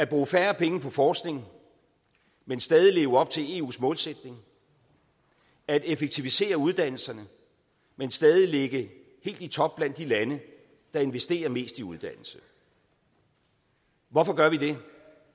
bruge færre penge på forskning men stadig leve op til eus målsætning at effektivisere uddannelserne men stadig ligge helt i top blandt de lande der investerer mest i uddannelse hvorfor gør vi det